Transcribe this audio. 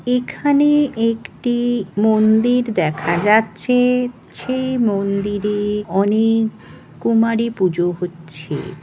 এখানে একটি মন্দির দেখা যাচ্ছে সেই মন্দিরে অনেক কুমারী পূজো হচ্ছে।